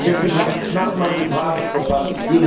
Deswegen habe ich knapp meine Frage verpasst.